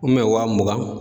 waa mugan